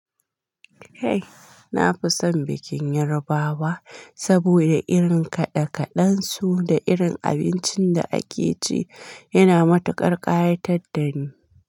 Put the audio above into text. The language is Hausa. Eh, na fi son bikin Yarbawa saboda irin kaɗe-kaɗen su da irin abincin da ake ci yana matuƙar ƙayatad da ni.